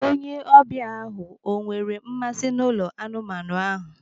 Onye ọbịa ahụ o nwere mmasị n'ụlọ anụmanụ ahụ?